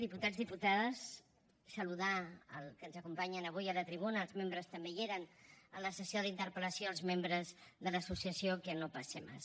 diputats diputades saludar que ens acompanyen avui a la tribuna els membres també hi eren en la sessió de la interpel·lació de l’associació que no pase más